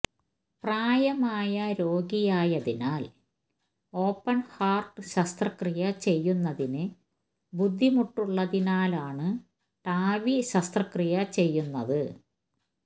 പ്രായമായ രോഗിയായതിനാല് open heart ശസ്ത്ക്രിയ ചെയ്യുന്നതിന് ബുദ്ധിമുട്ടള്ളതിനാലാണ് ടാവി ശസ്ത്രക്രിയ ചെയ്യുന്നത്